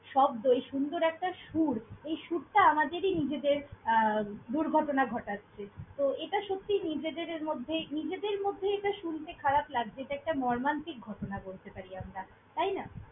শব্দই সুন্দর একটা সুর। এই সুরটা আমাদেরই নিজেদের আহ দুর্ঘটনা ঘটাচ্ছে। তো এটা সত্যিই নিজেদের মধ্যে নিজেদের মধ্যে শুনতে খারাপ লাগে যে একটা মর্মান্তিক ঘটনা বলতে পারি আমরা, তাই না!